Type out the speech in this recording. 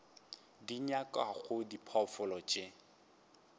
di nyakwago ke diphoofolo tše